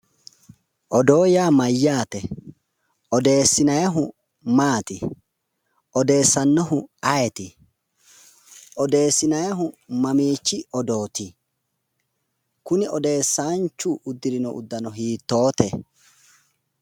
Odoo yaa mayyaate? odeessinannihu maati odeessannohu ayeeti? odeessinannihu mamiichi odooti? kuni odeessanchu uddirino uddano hiittoote?